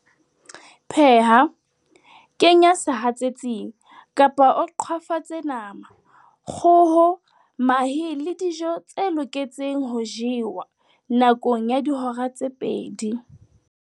Pheha, kenya sehatsetsing, kapa o qhwafatse nama, kgoho, mahe le dijo tse loketseng ho jewa, nakong ya dihora tse pedi